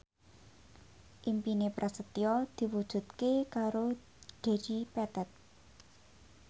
impine Prasetyo diwujudke karo Dedi Petet